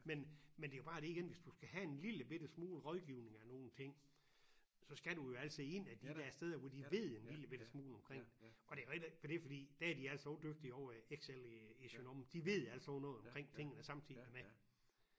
Men men det jo bare det igen hvis du skal have en lillebitte smule rådgivning af nogle ting så skal du jo altså ind ad de der steder hvor de ved en lillebitte smule omkring det og det jo heller for det fordi der er de altså også dygtige ovre i X L i i Søndre Omme de ved alt sådan noget noget omkring tingene samtidig med